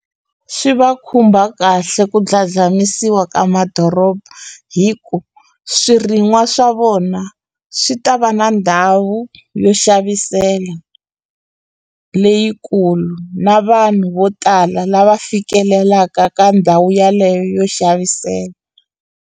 Swi va khumba kahle ku dladlamisiwa ka madoroba hi ku swirin'wa swa vona swi ta va na ndhawu yo xavisela leyikulu na vanhu vo tala lava fikelelaka ka ndhawu yaleyo yo xavisela.